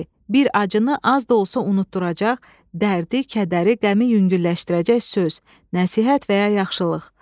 bir acını az da olsa unutduracaq, dərdi, kədəri, qəmi yüngülləşdirəcək söz, nəsihət və ya yaxşılıq.